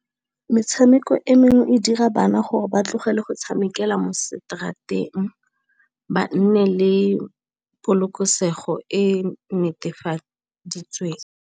Metshameko e mengwe e dira bana gore ba tlogele go tshamekela mo straat-eng ba nne le polokesego e netefaditsweng.